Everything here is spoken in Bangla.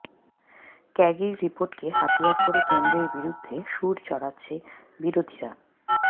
ক্যাগের রিপোর্টকে হাতিয়ার করে কেন্দ্রের বিরুদ্ধে সুর চড়াচ্ছে বিরোধীরা